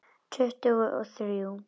Tuttugu og þrjú!